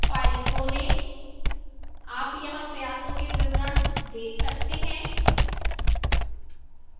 file खोलें आप यहां प्रयासों के विवरण let सकते हैं